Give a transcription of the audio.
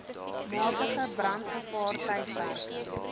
matige brandgevaar tydperke